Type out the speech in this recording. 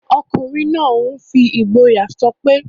Ọkùnrin náà n fi ìgboyà sọpé...